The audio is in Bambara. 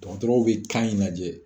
Dɔgɔtɔrɔw bɛ kan in lajɛ